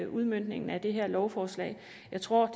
udmøntningen af det her lovforslag jeg tror